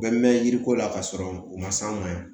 Bɛɛ mɛn mɛn yiriko la k'a sɔrɔ u ma s'anw ma yen